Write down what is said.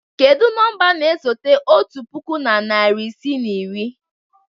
Kedu nọmba na-esote otu puku na narị isii na iri?